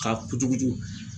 K'a kucukucu.